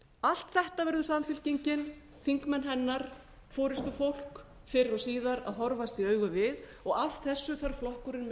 allt þetta verða þingmenn samfylkingarinnar forustufólk fyrr og síðar að horfast í augu við og af þessu þarf flokkurinn minn að draga